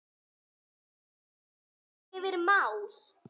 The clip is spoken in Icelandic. Við förum yfir öll mál.